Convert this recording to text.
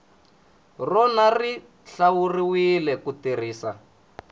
rona xi hlawuriwile ku tirhisiwa